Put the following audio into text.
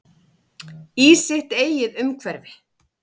Í sitt eigið umhverfi.